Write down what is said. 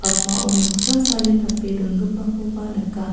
akmao noksa sale tape dongipakoba nika.